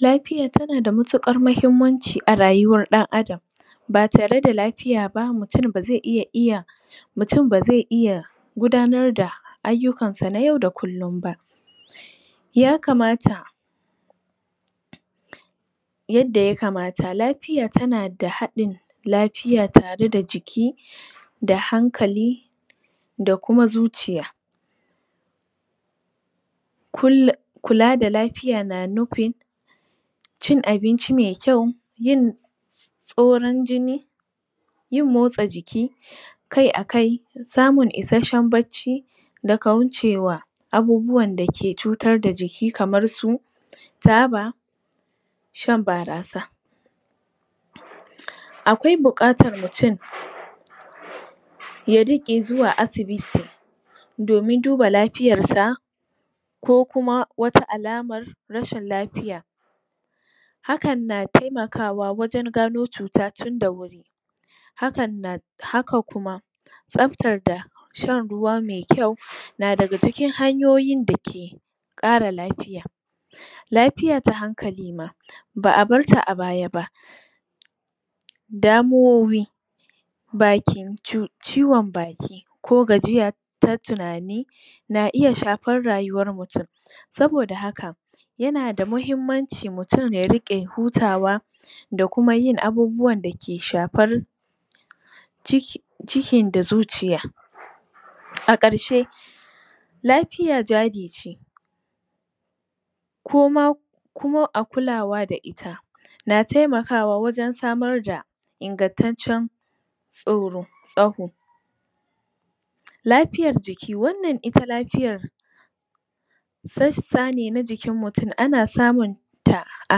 Lafiya tana da matuƙar muhimmanci a rayuwar ɗan adam ba tare da lafiya ba mutum bazai iya iya mutum bazai iya gudanar da ayyukansa na yau da kullum ba ya kamata yadda ya kamata lafiya tana da haɗin lafiya tare da jiki da hankali da kuma zuciya kul.. kula da lafiya na nufin cin abinci me kyau, yin tsoron jini yin motsa jiki kai a kai samun isashshen bacci da kaucewa abubuwan da ke cutar da jiki kamar su taba, shan barasa akwai buƙatar mutum ya rike zuwa asibiti domin duba lafiyarsa ko kuma wata alamar rashin lafiya hakan na temakawa wajen gano cuta tun da wuri hakan na haka kuma tsftar da shan ruwa me kyau na daga cikin hanyoyin da ke ƙara lafiya lafiya ta hankali ma ba'a barta a baya ba damuwoyi bakin ci..ciwon baki ko gajiya ta tunani na iya shafar rayuwar mutum saboda haka yana da muhimmanci mutum ya rike hutawa da kuma yin abubuwan dake shafar cik.. cikin da zuciya a ƙarshe lafiya jari ce koma kuma a kulawa da ita na taimakawa wajen samar da ingantaccen tsoro tsaho lafiyar jiki, wannan ita lafiyar sassa ne na jikin mutum ana samun ta a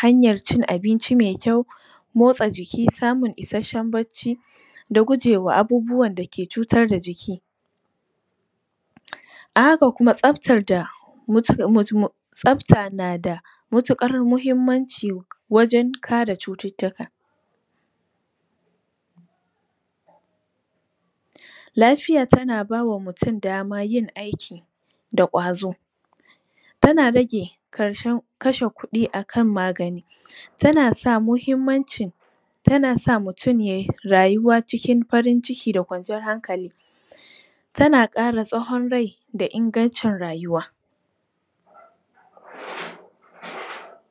hanyar cin abinci me kyau motsa jiki, samun isashshen bacci da gujewa abubuwan da ke cutar da jiki um a haka kuma tsaftar da muc.. muc.. mu tsafta nada mutuƙar muhimmanci wajen kare cututtuka pause lafiya tana bawa mutum daman yin aiki da kwazo tana rage karshe kashe kuɗi akan magani tana sa muhimmancin tana sa mutum yayi rayuwa cikin farin ciki da kwanciyar hankali tana kara tsahon rai da ingancin rayuwa pause